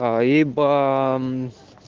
а ибо